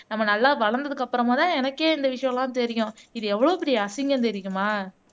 நம்ம நல்லா வளர்ந்ததுக்கு அப்புறமாதான் எனக்கே இந்த விஷயம் எல்லாம் தெரியும் இது எவ்வளவு பெரிய அசிங்கம் தெரியுமா